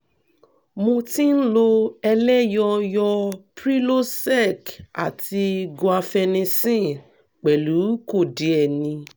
mo ti ń lo eloyoyo prilosec àti guiafenissen pẹ̀lú kòdíènì